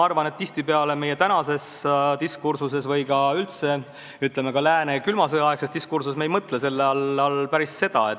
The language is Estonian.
Aga meie tänases diskursuses või üldse, ütleme, ka lääne külma sõja aegses diskursuses me ei mõtle selle all päris seda.